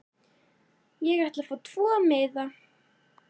Ég ætla að fá tvo miða.